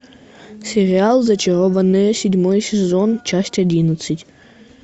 сериал зачарованные седьмой сезон часть одиннадцать